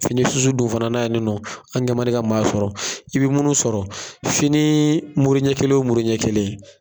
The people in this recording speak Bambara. Fini susu dun fana na ya nin nɔ an' kɛ man di ka maa sɔrɔ. I be munnu sɔrɔ finii mure ɲɛ kelen o mure ɲɛ kelen